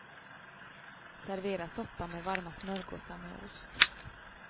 Servera soppan med varma smörgåsar med ost.